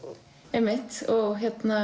einmitt og